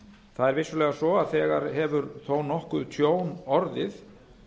það er vissulega svo að þegar hefur þó nokkuð tjón orðið